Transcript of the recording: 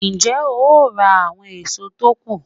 Ń jẹ́ ó ra àwọn èso tó kù